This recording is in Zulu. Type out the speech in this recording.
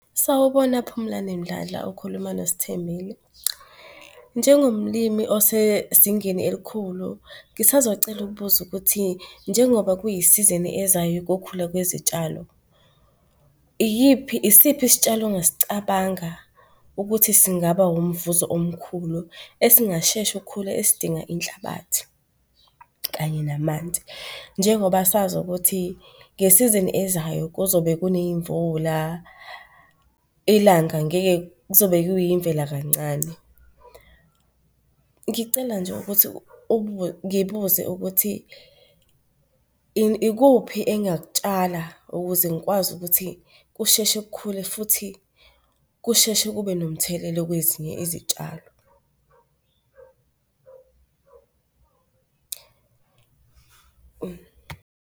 Sawubona, Phumlane Mdladla. Ukhuluma noSthembile. Njengomlimi osezingeni elikhulu, ngisazocela ukubuza ukuthi njengoba kwiyisizini ezayo yokukhula kwezitshalo, iyiphi, isiphi isitshalo ongas'cabanga ukuthi singaba wumvuzo omkhulu esingasheshi ukukhula esidinga inhlabathi kanye namanzi? Njengoba sazi ukuthi ngesizini ezayo kuzobe kuney'mvula, ilanga ngeke, kuzobe kuyimvela kancane. Ngicela nje ukuthi ngibuze ukuthi ikuphi engakutshala ukuze ngikwazi ukuthi kusheshe kukhule futhi kusheshe kube nomthelelo kwezinye izitshalo?